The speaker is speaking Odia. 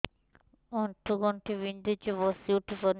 ଆଣ୍ଠୁ ଗଣ୍ଠି ବିନ୍ଧୁଛି ବସିଉଠି ପାରୁନି